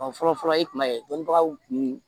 fɔlɔ fɔlɔ i kun b'a ye dɔnnibagaw kun